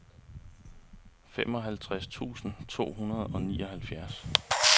femoghalvtreds tusind to hundrede og nioghalvfjerds